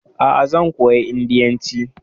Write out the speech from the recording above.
Aa, zan koyi indiyanci